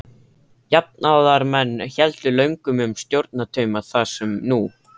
Jafnaðarmenn héldu löngum um stjórnartauma þá sem nú.